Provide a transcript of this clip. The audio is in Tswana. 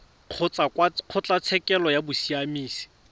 kgotsa kwa kgotlatshekelo ya bosiamisi